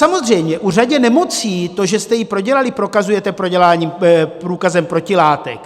Samozřejmě u řady nemocí to, že jste ji prodělali, prokazujete průkazem protilátek.